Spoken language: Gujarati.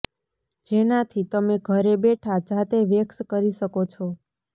જેનાથી તમે ઘરે બેઠાં જાતે વેક્સ કરી શકો છો